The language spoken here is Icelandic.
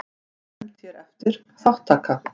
Nefnd hér eftir: Þátttaka.